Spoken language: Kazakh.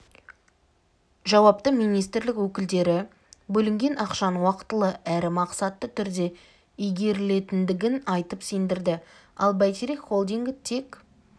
жауапты министрлік өкілдері бөлінген ақшаның уақытылы әрі мақсатты түрде игерілетіндігін айтып сендірді ал бәйтерек холдингі тек